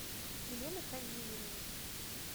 елена хазиевна